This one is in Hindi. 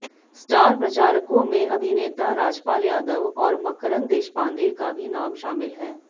स्टार प्रचारकों में अभिनेता राजपाल यादव और मकरन्द देशपांडे का भी नाम शामिल हैं